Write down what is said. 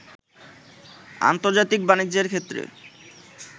আন্তর্জাতিক বাণিজ্যের ক্ষেত্রে